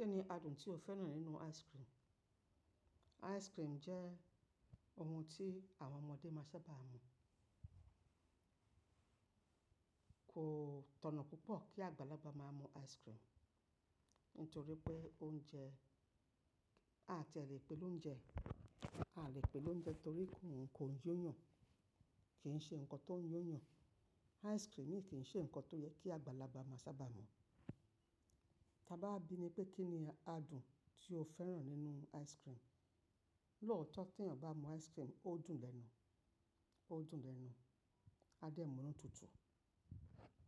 Kíní adùn tí o fẹ́ràn nínú ice cream? Ice cream jẹ́ ohun tí àwọn ọmọdé máa sábà mu. Kò tọ̀nà púpọ̀ kí àgbàlagbà máa mu ice cream, nítorí pé oúnjẹ, a ti a lè pè lóúnjẹ, a lè pè lóúnjẹ torí kò ń yó yàn, kìí ṣe nǹkan tó ń yó yàn. Ice cream yìí kìí ṣe ǹkan tó yẹ kí àgbàlagbà máa sábà mu. Ta bá wà bi mí pé kíní adùn tí o fẹ́ràn nínú ice cream. Lóòótọ́ tí èèyàn bá mú ice cream, ó dùn lẹ́nu, ó dùn lẹ́nu, a dẹ̀ mú nu tútù.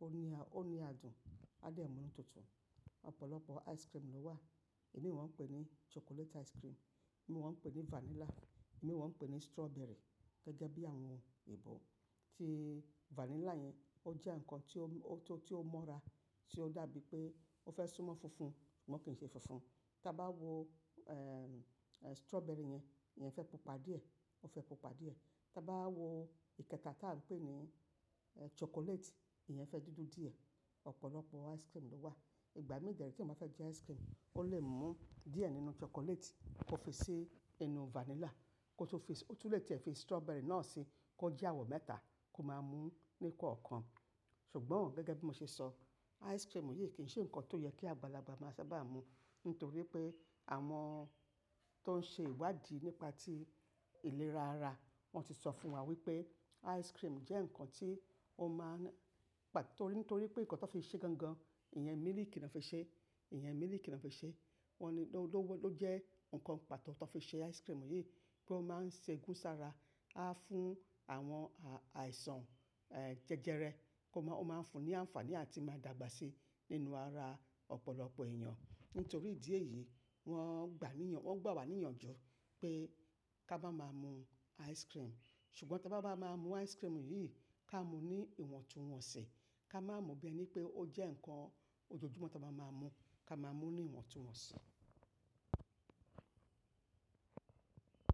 Ó ní a, ó ní adùn, a dẹ̀ múnu tutù. Ọ̀pọ̀lọpọ̀ ice cream ló wà. Èmí wọ́n ń pè ní chocolate ice cream, è mi wòn pè ní vanilla, è mi wọ́n pè ní strawberry. Gẹ́gẹ́ bí àwọn òyinbò tí vanilla yẹn ó jẹ́ ǹkan tó, tó mọ́ra, tí ó dàbí pé ó fẹ́ súnmọ́ funfun, ṣùgbọ́n kì í ṣe funfun. Taa bá wo strawberry yẹn, ìyẹn fẹ́ pupa díẹ̀, ó fẹ́ pupa díẹ̀. Taa bá wo ìkẹta tá a ń pè ní chocolate, ìyẹn fẹ́ dúdú díẹ̀. Ọ̀pọ̀lọpọ̀ ice cream ló wà. Ìgbà mí dèré tí ọmọ fẹ́ jẹ ice cream, ó lè mú díẹ̀ nínú chocolate kó fi sí inú vanilla kó tó fi, ó tún lè tẹ̀ fi strawberry náà sí, kó jẹ́ àwọ̀ mẹ́ta kó máa mú ní kọ̀ọ̀kan. Ṣùgbọ́n gẹ́gẹ́ bí mo ṣe sọ, ice cream yìí kì í ṣe ǹkan tó yẹ kí àgbàlagbà máa sábà mu. Nítorí pé àwọn tó ń ṣe ìwádìí nípa ti ìlera ara, wọ́n ti sọ fún wa wípé ice cream jẹ́ ǹkan tí ó máa ń, torí, nítorí pé ǹkan tó fi ṣe gangan, ìyẹn mílìkì ni wọ́n fi ṣe, ìyẹn mílìkì ni wọ́n fi ṣe. Wọ́n ni ó ló, ló jẹ́ ǹkan pàtó tó fi ṣe ice cream yìí pé ó máa ń ṣe gúnsára, á fún àwọn àìsàn jẹjẹrẹ kó má, ó máa ń fún ní àǹfààní àti máa dàgbà sí nínú ara ọ̀pọ̀lọpọ̀ èèyàn. Nítorí ìdí èyí, wọ́n gbà níyan, wọ́n gbà wá níyànjú pé ká bá máa mú ice cream. Ṣùgbọ́n ta bá bá máa mú ice cream yìí, ká mú ní ìwọ̀ntúnwọ̀nsì, ká má mú bí ẹni pé ó jẹ́ ǹkan ojoojúmọ́ ta má máa mú, ká máa mú ní ìwọ̀ntúnwọ̀nsì.